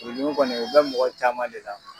Furu dimi kɔni o be mɔgɔ caman de la